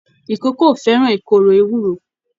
Ìkókó o fẹràn ìkòrò ewúro.